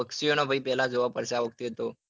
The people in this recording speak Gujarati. પક્નુંષીઓભાઈ નું પેલા જોવું પડશે આ વખતે